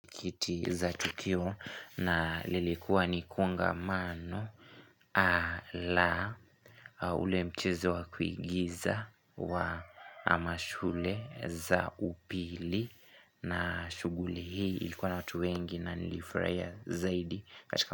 Kiti za tukio na lilikuwa nikonga mano la au ule mchezo wa kuigiza wa amashule za upili na shuguli hii ilikuwa na watu wengi na nilifuraia zaidi.